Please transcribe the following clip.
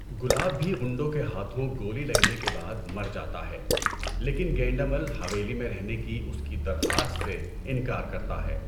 گلاب بھی غنڈوں کے ہاتھوں گولی لگنے کے بعد مر جاتا ہے لیکن گینڈمل حویلی میں رہنے کی اس کی درخواست سے انکار کرتا ہے۔